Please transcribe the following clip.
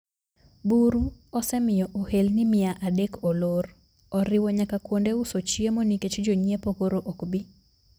Buru osemio ohelni mia adek olor. Oriwo nyaka kuonde uso chiemo nikech jonyiepo koro okbii.